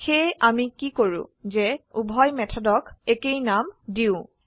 সেয়ে আমি কি কৰো যে উভয় মেথডক একেই নাম দিয়ো